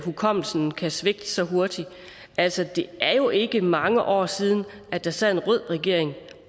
hukommelsen kan svigte så hurtigt altså det er jo ikke mange år siden at der sad en rød regering